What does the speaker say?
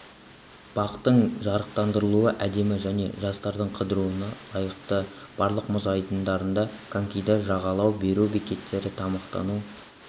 бақтың жарықтандырылуы әдемі және жастардың қыдыруына лайықты барлық мұз айдындарында конькиді жалға беру бекеттері тамақтану